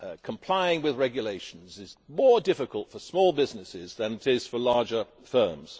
Complying with regulations is more difficult for small businesses than it is for larger firms.